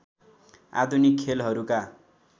आधुनिक खेलहरूका